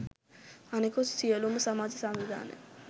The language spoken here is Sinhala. අනෙකුත් සියළුම සමාජ සංවිධාන